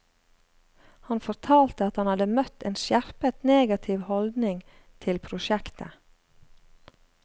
Han fortalte at han hadde møtt en skjerpet negativ holdning til prosjektet.